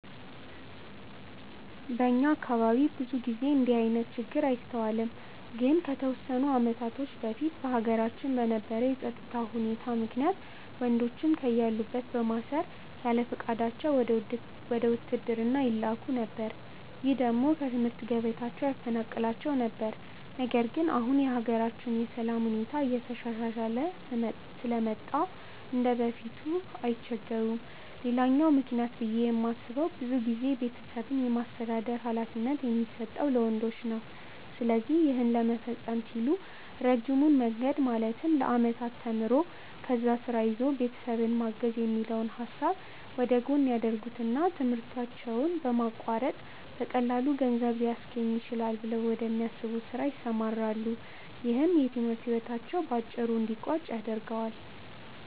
በእኛ አካባቢ ብዙ ጊዜ እንደዚህ አይነት ችግር አይስተዋልም። ግን ከተወሰኑ አመታቶች በፊት በሀገራችን በነበረው የፀጥታ ሁኔታ ምክንያት ወንዶችን ከያሉበት በማሰር ያለፍቃዳቸው ወደ ውትድርና ይላኩ ነበር። ይህ ደግሞ ከትምህርት ገበታቸው ያፈናቅላቸው ነበር። ነገር ግን አሁን የሀገራችን የሰላም ሁኔታ እየተሻሻለ ስለመጣ እንደበፊቱ አይቸገሩም። ሌላኛው ምክንያት ብዬ የማስበው ብዙ ጊዜ ቤተሰብን የማስተዳደር ሀላፊነት የሚሰጠው ለወንዶች ነው። ስለዚህ ይህን ለመፈፀም ሲሉ ረጅሙን መንገድ ማለትም ለአመታት ተምሮ፣ ከዛ ስራ ይዞ ቤተሰብን ማገዝ የሚለውን ሀሳብ ወደጎን ያደርጉትና ትምህርታቸውን በማቋረጥ በቀላሉ ገንዘብ ሊያስገኝልኝ ይችላል ብለው ወደሚያስቡት ስራ ይሰማራሉ። ይህም የትምህርት ህይወታቸው በአጭሩ እንዲቀጭ ያደርገዋል።